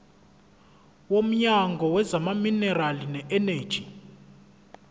womnyango wezamaminerali neeneji